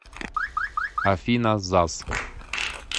афина заз